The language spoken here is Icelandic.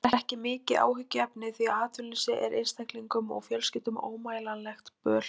Þetta er mikið áhyggjuefni því að atvinnuleysi er einstaklingum og fjölskyldum ómælanlegt böl.